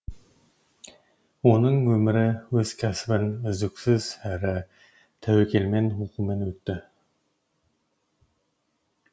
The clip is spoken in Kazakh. оның өмірі өз кәсібін үздіксіз әрі тәуекелмен оқумен өтті